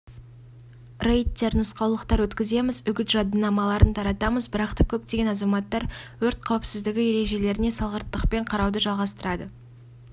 рейдтер нұсқаулықтар өткіземіз үгіт жадынамаларын таратамыз бірақта көптеген азаматтар өрт қауіпсіздігі ережелеріне салғырттықпен қарауды жалғастырады